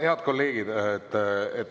Head kolleegid!